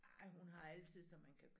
Nej hun har altid så man kan